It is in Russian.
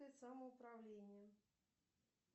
самоуправление